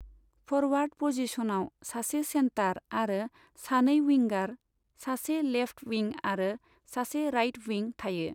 Forward पजिशनाव सासे centre आरो सानै विंगार, सासे लेफ्ट विं आरो सासे राइट विं थायो।